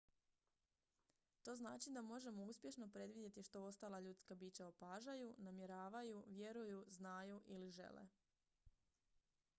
to znači da možemo uspješno predvidjeti što ostala ljudska bića opažaju namjeravaju vjeruju znaju ili žele